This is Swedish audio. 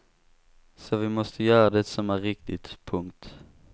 Så vi måste göra det som är riktigt. punkt